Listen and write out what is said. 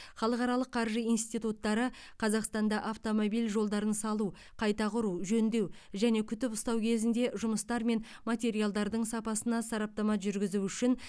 халықаралық қаржы институттары қазақстанда автомобиль жолдарын салу қайта құру жөндеу және күтіп ұстау кезінде жұмыстар мен материалдардың сапасына сараптама жүргізу үшін